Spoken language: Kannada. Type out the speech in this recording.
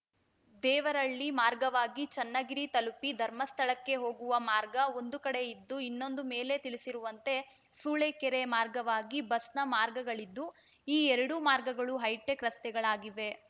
ದೇವರಹಳ್ಳಿ ಮಾರ್ಗವಾಗಿ ಚನ್ನಗಿರಿ ತಲುಪಿ ಧರ್ಮಸ್ಥಳಕ್ಕೆ ಹೋಗುವ ಮಾರ್ಗ ಒಂದು ಕಡೆ ಇದ್ದು ಇನ್ನೊಂದು ಮೇಲೆ ತಿಳಿಸಿರುವಂತೆ ಸೂಳೆಕೆರೆ ಮಾರ್ಗವಾಗಿ ಬಸ್‌ನ ಮಾರ್ಗಗಳಿದ್ದು ಈ ಎರಡು ಮಾರ್ಗಗಳು ಹೈಟೆಕ್‌ ರಸ್ತೆಗಳಾಗಿವೆ